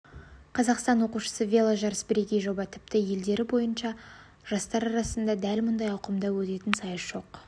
қазақстан оқушысы веложарасы бірегей жоба тіпті елдері бойынша жастар арасында дәл мұндай ауқымда өтетін сайыс жоқ